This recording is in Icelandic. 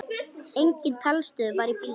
Engin talstöð var í bílnum.